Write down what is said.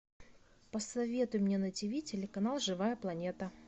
посоветуй мне на тв телеканал живая планета